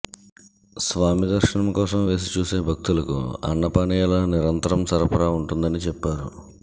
స్వామి దర్శనం కోసం వేచి చూసే భక్తులకు అన్న పానీయాల నిరంతర సరఫరా ఉంటుందని చెప్పారు